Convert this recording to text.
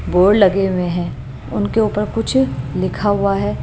Board लगे हुए हैं उनके ऊपर कुछ लिखा हुआ है।